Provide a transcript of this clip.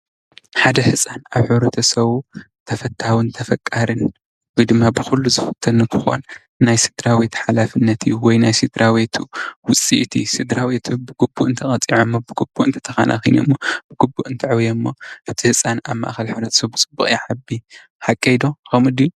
ሓደ ህፃን ኣብ ሕብረተሰቡ ተፈታውን ተፈቃሪን ወይ ድማ ብኩሉ ዝፍቶ እንትኮን ናይ ስድራቤት ሓላፍነት እዩ። ወይ ናይ ስድራቤት ውፅኢት እዩ። ብግቡእ እተቀፂዐምዎ ብግቡእ እትተከናክነምዎ ብግቡእ እተዕብዮምዎ እቲ ህፃን ኣበ ማእከል ሕብረተሰብ ብፅቡቅ ይዓቢ ። ሓቀይ ዶ ከምኡ ድዩ?